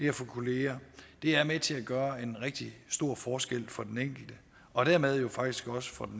at få kolleger det er med til at gøre en rigtig stor forskel for den enkelte og dermed jo faktisk også for